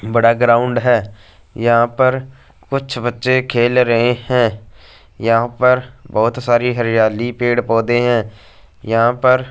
बड़ा ग्राउंड है यहां पर कुछ बच्चे खेल रहे हैं यहां पर बहोत सारी हरियाली पेड़ पौधे हैं यहां पर--